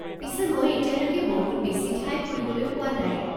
পিছে মই এতিয়ালৈকে বহুত বেছি ঠাই ফুৰিবলৈ পোৱা নাই।